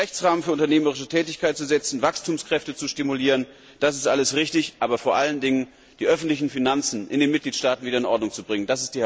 Den Rechtsrahmen für unternehmerische Tätigkeit zu setzen, Wachstumskräfte zu stimulieren, das ist alles richtig, aber vor allen Dingen die öffentlichen Finanzen in den Mitgliedstaaten wieder in Ordnung zu bringen.